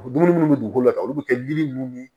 Dumuni munnu be dugukolo la tan olu be kɛ yiri nunnu ni